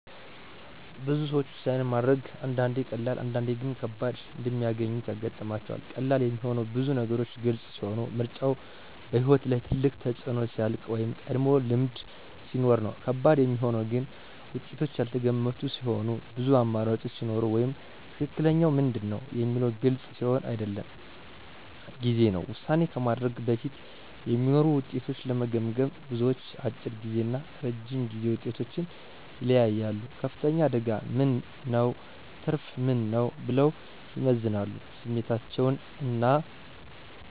ብዙ ሰዎች ውሳኔ ማድረግን አንዳንዴ ቀላል፣ አንዳንዴ ግን ከባድ እንደሚያገኙት ያጋጥማቸዋል። ቀላል የሚሆነው ብዙ ነገሮች ግልጽ ሲሆኑ፣ ምርጫው በሕይወት ላይ ትልቅ ተፅዕኖ ሲያልቅ ወይም ቀድሞ ልምድ ሲኖር ነው። ከባድ የሚሆነው ግን ውጤቶቹ ያልተገመቱ ሲሆኑ፣ ብዙ አማራጮች ሲኖሩ ወይም “ትክክለኛው ምንድን ነው?” የሚለው ግልጽ ሲሆን አይደለም ጊዜ ነው። ውሳኔ ከማድረግ በፊት የሚኖሩ ውጤቶችን ለመገመገም፣ ብዙዎች፦ አጭር ጊዜ እና ረጅም ጊዜ ውጤቶችን ይለያያሉ “ከፍተኛ አደጋ ምን ነው? ትርፉ ምን ነው?” ብለው ይመዝናሉ ስሜታቸውን እና